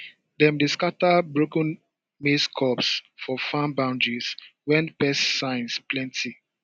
dem dey scatter broken maize cobs for farm boundaries when pest signs plenty